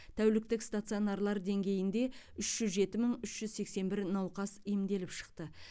тәуліктік стационарлар деңгейінде үш жүз жеті мың үш жүз сексен бір науқас емделіп шықты